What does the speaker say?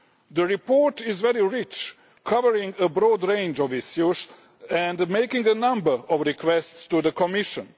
The report is very rich, covering a broad range of issues and making a number of requests to the Commission.